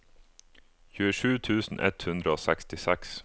tjuesju tusen ett hundre og sekstiseks